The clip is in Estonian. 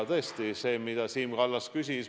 Nüüd see, mida Siim Kallas küsis.